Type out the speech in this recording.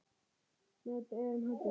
Með berum höndum.